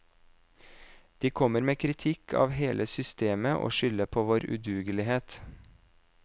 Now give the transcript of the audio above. De kommer med kritikk av hele systemet og skylder på vår udugelighet.